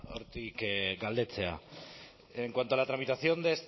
hortik galdetzea en cuanto a la tramitación